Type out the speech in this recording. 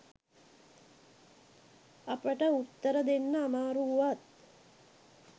අපට උත්තර දෙන්න අමාරු වුවත්